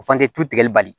O fana tulu tigɛli bali